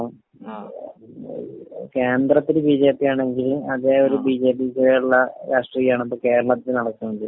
ഇപ്പൊ കേന്ദ്രത്തില് ബിജെപി ആണെങ്കില് അതേ ഒരു ബിജെപി കേരള രാഷ്ട്രീയമാണ് ഇപ്പൊ കേരളത്തിൽ നടക്കുന്നത്.